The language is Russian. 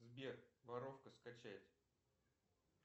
сбер воровка скачать